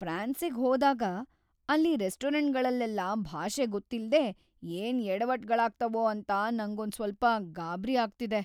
ಫ್ರಾನ್ಸಿಗ್‌ ಹೋದಾಗ ಅಲ್ಲಿ ರೆಸ್ಟೋರೆಂಟ್ಗಳಲ್ಲೆಲ್ಲ ಭಾಷೆ ಗೊತ್ತಿಲ್ದೇ ಏನ್‌ ಯಡವಟ್‌ಗಳಾಗ್ತಾವೋ ಅಂತ ನಂಗೊಂದ್ ಸ್ವಲ್ಪ ಗಾಬ್ರಿ ಆಗ್ತಿದೆ.